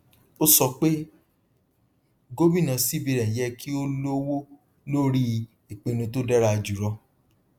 ó sọ pé gómìnà cbn yẹ kí ó lówó lórí ìpinnu tó dára jùlọ